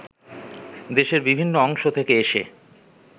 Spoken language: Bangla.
দেশের বিভিন্ন অংশ থেকে এসে